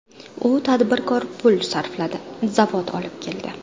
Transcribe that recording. U tadbirkor pul sarfladi, zavod olib keldi.